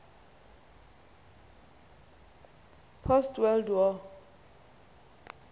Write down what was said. post world war